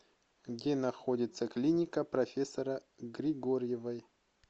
где находится клиника профессора григорьевой